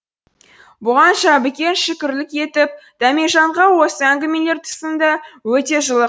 бұған жәбікен шүкірлік етіп дәмежанға осы әңгімелер тұсында өте жылы